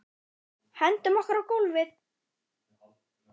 Hendum okkur á gólfið.